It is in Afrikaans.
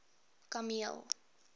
kameel